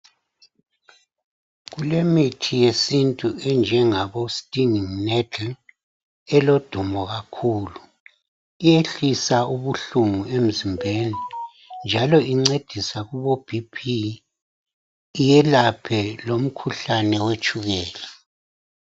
Kulemithi yesintu enjengabo stinging mettle elodumo kakhulu. Iyehlisa ubuhlungu emzimbeni njalo incedisa kubo BP, iyelaphe lomkhuhlane wetshukela.